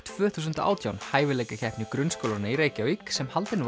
tvö þúsund og átján hæfileikakeppni grunnskólanna í Reykjavík sem haldin